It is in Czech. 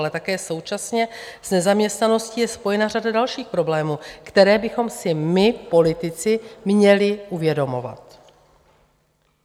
Ale také současně s nezaměstnaností je spojena řada dalších problémů, které bychom si my politici měli uvědomovat.